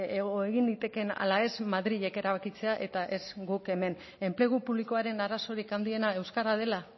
egin litekeen ala ez madrilek erabakitzea eta ez guk hemen enplegu publikoaren arazorik handiena euskara dela